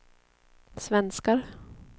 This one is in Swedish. svenskar